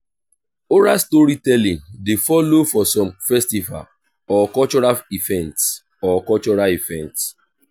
oral storytelling de follow for some festival or cultural events or cultural events